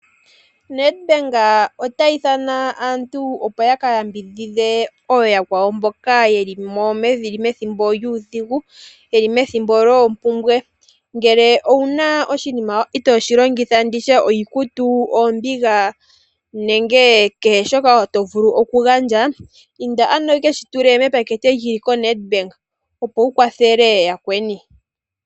Nedbank ota ithana aantu opo yaka yambidhidhe ooyakwawo mboka yeli methimbo lyuudhigu, yeli methimbo lyoopumbwe. Ngele owuna oshinima itooshi longitha nenge nditye iikutu, oombiga nenge kehe shoka tovulu okugandja inda ano yekeshi tule mepateke lyili koNedbank opo wukwathele yakweni.